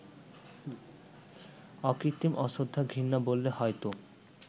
অকৃত্রিম অশ্রদ্ধা-ঘৃণা বললে হয়তো